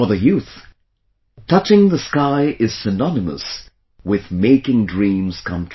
For the youth, touching the sky is synonymous with making dreams come true